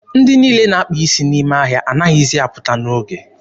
Ndị niile na-akpa isi n'ime ahịa anaghịzi apụta n'oge.